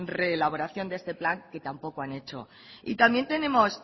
reelaboración de este plan que tampoco han hecho y también tenemos